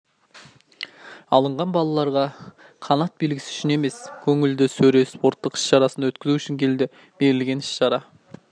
алынған балаларға қанат белгісі үшін емес көңілді сөре спорттық іс-шарасын өткізу үшін келді берілген іс-шара